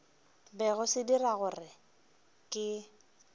bego se dira gore ke